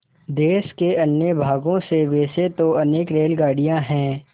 देश के अन्य भागों से वैसे तो अनेक रेलगाड़ियाँ हैं